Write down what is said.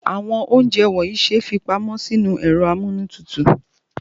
Àwọn ounjẹ wọnyii se fi pamọ́ sinu ẹ̀rọ amunu tutu